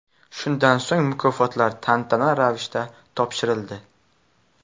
Shundan so‘ng mukofotlar tantanali ravishda topshirildi.